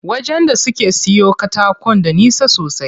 Wajen da suke siyo katakon da nisa sosai.